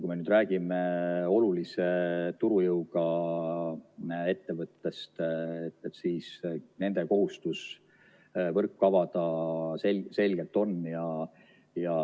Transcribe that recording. Kui me räägime olulise turujõuga ettevõtetest, siis nendel on selgelt kohustus võrk avada.